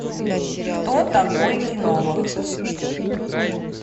кто такой кинолог